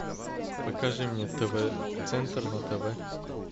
покажи мне тв центр на тв